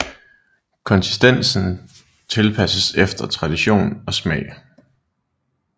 Konsistensen tilpasses efter tradition og smag